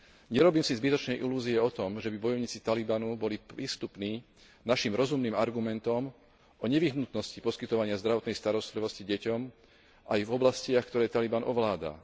Nerobím si zbytočné ilúzie o tom, žeby bojovníci Talibanu boli prístupní našim rozumným argumentom o nevyhnutnosti poskytovania zdravotnej starostlivosti deťom aj v oblastiach, ktoré Taliban ovláda.